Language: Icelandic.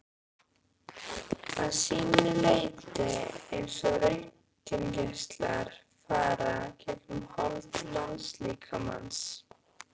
að sínu leyti eins og röntgengeislar fara gegnum hold mannslíkamans.